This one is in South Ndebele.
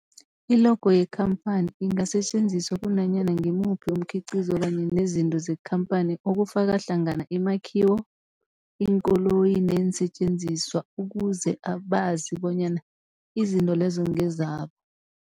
I-logo yekhamphani ingasetjenziswa kunanyana ngimuphi umkhiqizo kanye nezinto zekhamphani okufaka hlangana imakhiwo, iinkoloyi neensentjenziswa ukuze abazi bonyana izinto lezo ngezabo.